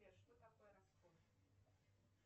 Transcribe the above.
сбер что такое раскоп